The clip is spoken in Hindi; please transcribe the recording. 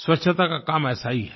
स्वच्छता का काम ऐसा ही है